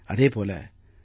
அதே போல திரு